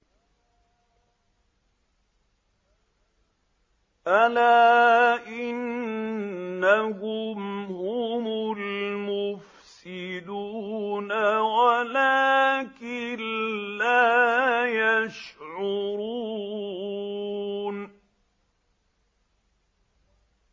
أَلَا إِنَّهُمْ هُمُ الْمُفْسِدُونَ وَلَٰكِن لَّا يَشْعُرُونَ